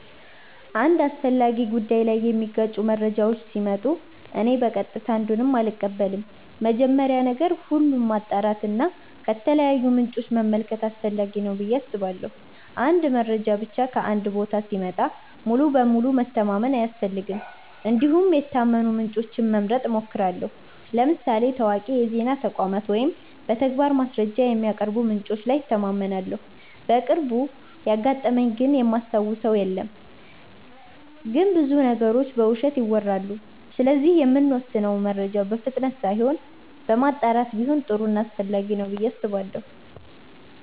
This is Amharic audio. አንድ አስፈላጊ ጉዳይ ላይ የሚጋጩ መረጃዎች ሲመጡ እኔ በቀጥታ አንዱን አልቀበልም። መጀመሪያ ነገር ሁሉ ማጣራት እና ከተለያዩ ምንጮች መመልከት አስፈላጊ ነው ብዬ አስባለሁ። አንድ መረጃ ብቻ ከአንድ ቦታ ሲመጣ ሙሉ በሙሉ መተማመን አያስፈልግም እንዲሁም የታመኑ ምንጮችን መምረጥ እሞክራለሁ ለምሳሌ ታዋቂ የዜና ተቋማት ወይም በተግባር ማስረጃ የሚያቀርቡ ምንጮች ላይ እተማመናለሁ። በቅርቡ ያጋጠመኝ ግን እማስታውሰው የለም ግን ብዙ ነገሮች በውሸት ይወራሉ ስለዚህ የምንወስነው መረጃ በፍጥነት ሳይሆን በማጣራት ቢሆን ጥሩ ና አስፈላጊ ነው ብዬ አስባለሁ።